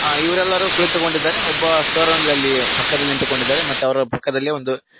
ಆ ಇವರೆಲ್ಲರೂ ಕುಳಿತುಕೊಂಡಿದ್ದಾರೆ ಒಬ್ಬ ಸರ್ ಅಂದ್ರೆ ಅಲ್ಲಿ ಪಕ್ಕದಲ್ಲಿ ನಿಂತುಕೊಂಡಿದ್ದಾರೆ ಮತ್ತೆ ಅವರ ಪಕ್ಕದಲ್ಲಿ ಒಂದು.